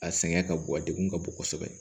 A sɛgɛn ka bon a degun ka bon kosɛbɛ